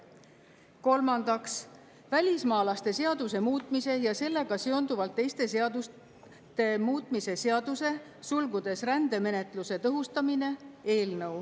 Kolmandaks, välismaalaste seaduse muutmise ja sellega seonduvalt teiste seaduste muutmise seaduse eelnõu.